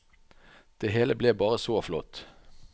Det hele ble bare så flott.